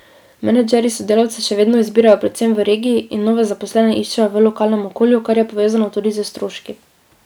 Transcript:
Menedžerji sodelavce še vedno izbirajo predvsem v regiji in nove zaposlene iščejo v lokalnem okolju, kar je povezano tudi s stroški.